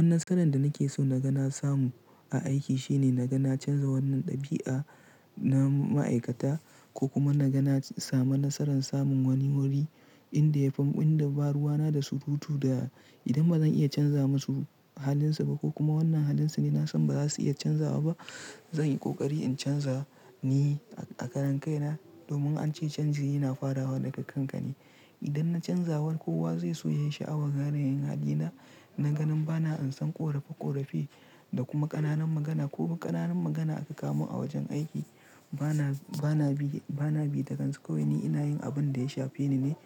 Wannan nasaran da nake so na gan samu a aiki shine na ga na canza wannan ɗabi'a na ma'aikata ko kuma na ga na samu nasaran samun wani wuri inda yafi inda ba ruwa na da surutu da idan bazan iya canza masu halin su ba ko kuma wannan halin su ne nasan baza su iya canzawa ba. Zan yi ƙoƙari in canza ni a karan kai na domin an ce canji yana farawa daga kanka ne. Idan na canzawa kowa zai so yayi sha'awa gare yin hali na. Na ganin bana an san ƙorafe ƙorafe da kuma ƙananan magana ko ba ƙananan magana aka kawo mun a wajen aiki. Bana, bana bi, bana bi takansu ko wanin ina yin abin da ya shafe ni ne.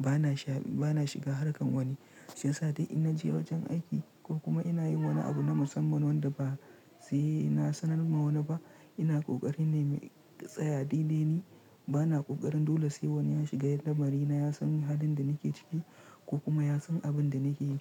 Bana sha, bana shiga harkan wani shiyasa da ina je wajen aiki ko kuma ina yin wani abu na musamman wanda ba sai na sanar ma wani ba. Ina kokari na yi tsaya dai dai ni. Bana kokarin dole sai wani ya shiga lamari na ya san halin da nake ciki ko kuma ya san abin da nake yi.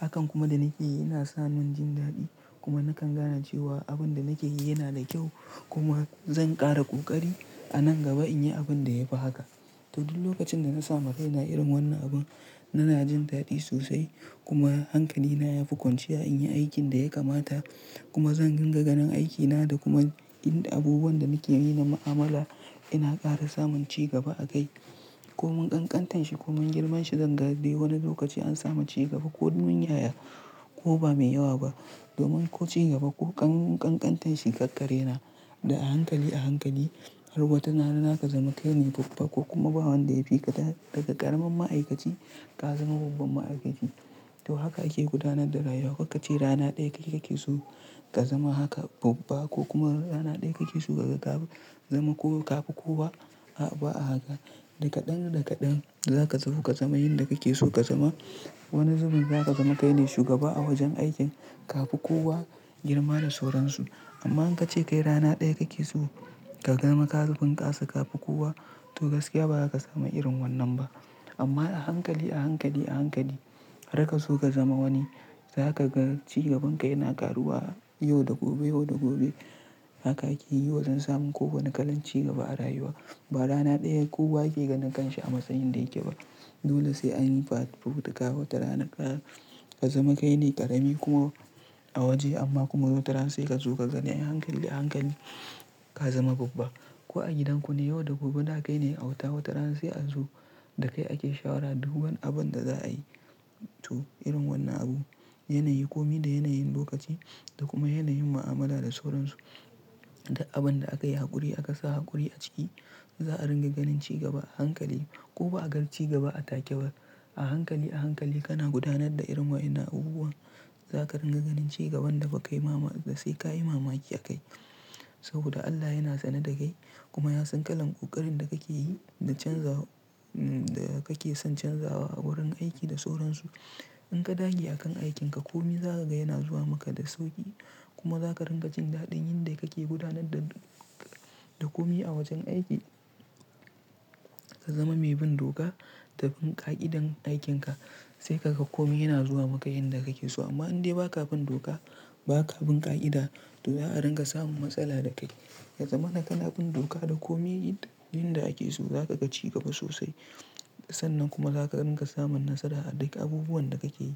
Hakan kuma da nake yi yana sa mun jin daɗi kuma nakan gane cewa abin da nake yi yana da kyau kuma zan ƙara ƙoƙari a nan gaba in yi abin da ya fi haka. To duk lokacin da na samu kaina irin wannan abu, i na jin daɗi sosai kuma hankali na ya fi ƙunciya in yi aikin da ya kamata kuma zan ringa ganin aikina da kuma inda abubuwan da nake yi na mu'amala ina ƙara samun cigaba a kai ko mun ƙanƙantar shi ko mun girma shi zan ga dai wani lokaci an samu cigaba ko mun yaya ko ba mai yawa ba. Domin ko cigaba ko ƙanƙantar shi kakkare na da a hankali a hankali har watana na haka zama kaine babba ko kuma bawan da ya fi ka daga ƙaramin ma'aikaci ka zama babban ma'aikaci. To haka ake gudanar da rayuwa. Karka ce rana ɗaya kake so ka zama haka babba ko kuma rana ɗaya kake so ka zama ko ka fi kowa. A'a ba a haka. Dakaɗan dakaɗan zaka zo ka zama yin da kake so ka zama. Wani zubin zaka zama kaine shugaba a wajen aikin ka fi kowa girma da sauransu. Amma in ka ce kai rana ɗaya kake so ka zama ka zubin ka su ka fi kowa to gaskiya ba zaka samu irin wannan ba. Amma a hankali a hankali a hankali har ka zo ka zama wani zaka ga cigaban ka yana ƙaruwa yau da gobe yau da gobe haka akeyi wa jen samun ko wani kalan cigaba a rayuwa. Ba rana ɗaya kowa yake ganin kanshi a matsayin da yake ba. Dole sai anyi fafutuka wata rana ka zama kaine ƙarami kuma a waje amma kuma wata rana sai ka zo ka zane a hankali a hankali ka zama babba. Ko a gidan ku ne yau da gobe daka kaine auta wata rana sai a zu da kai ake shawara duk wani abun da za a yi. To irin wannan abu, yanayi komi da yanayin lokaci da kuma yanayin mu'amala da sauransu. Duk abun da aka yi haƙuri aka sa haƙuri a ciki za a ringa ganin cigaba a hankali ko ba a ga cigaba a take ba. A hankali a hankali kana gudanar da irin wa'ina abubuwan zaka ringa ganin cigaban da ba kai mama da sai ka yi mamaki a kai. Saboda Allah yana sane da kai kuma ya san kalan ƙoƙarin da kake yi da canza da kake son canzawa a wurin aiki da sauransu. In ka dage a kan aikin ka komi za ka ga yana zuwa maka da sauƙi kuma za ka ringa jin daɗin yin da kake gudanar da, da komi a wajen aiki. Ka zama mai bin doka da bin ƙa'idan aikin ka sai kaga komi yana zuwa maka yin da kake so. Amma in dai ba ka bin doka ba ka bin ƙa'ida to za a ringa samun matsala da kai. Yaza mana kana bin doka da komi yan da ake so za ka ga cigaba sosai. Sannan kuma za ka ringa samun nasara a duk abubuwan da kake yi.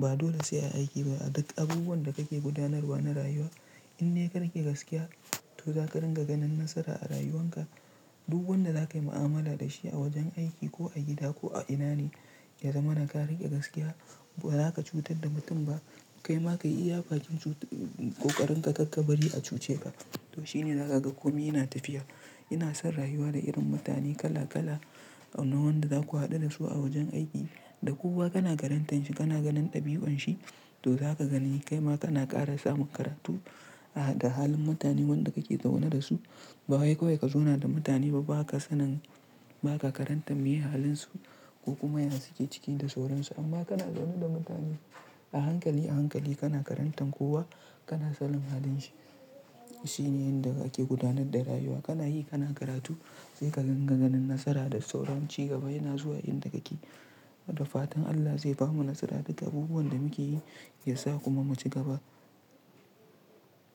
Ba dole sai a aiki ba a duk abubuwan da kake gudanarwa na rayuwa. In de ka rike gaskiya to za ka ringa ganin nasara a rayuwan ka. Duk wanda za ka yi mu'amala da shi a wajen aiki ko a gida ko a ina ne ya zama naka riƙe gaskiya ba za ka cutar da mutum ba. Kai ma kai iya bakin ƙoƙarin ka ka bari a cuce ba. To shine za ka ga komi yana tafiya. Ina son rayuwa da irin mutane kala kala. Na wanda zaku haɗu da su a wajen aiki da kowa kana karantan shi kana ganin ɗabi'un shi to za ka gani kai ma kana ƙara samun karatu a da halin mutanen wanda kake zaune da su. Ba wai kawai ka zauna da mutane ba baka sanin baka karanta meye halin su ko kuma yana cike ciki da sauransu amma kana zaune da mutane. A hankali a hankali kana karantan kowa kana sanin halin shi. Shi ne yin da ake gudanar da rayuwa. Kana yi kana karatu sai ka gan ganin nasara da sauran cigaba yana zuwa yin da kake yi. Da fatan Allah zai bamu nasara duk abubuwan da muke yi ya sa kuma mu ci gaba.